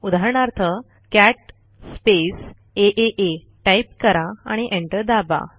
उदाहरणार्थ cat space आ type करा आणि एंटर दाबा